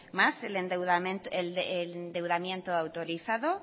más el endeudamiento autorizado